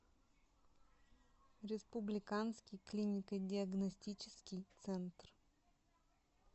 республиканский клинико диагностический центр